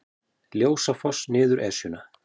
Ljósafoss niður Esjuna